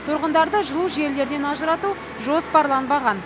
тұрғындарды жылу желілерінен ажырату жоспарланбаған